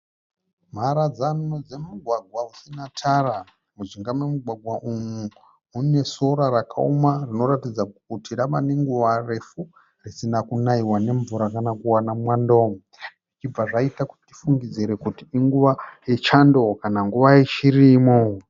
Mharadzano dzemugwagwa usina tara. Mujinga memugwagwa umu mune sora rakauma rinoratidza kuti rava nenguva refu risina kunaiwa nemvura kana kuwana mwando. Zvichibva zvaita kuti tifungidzire kuti inguva yechando kana nguva yechirimo.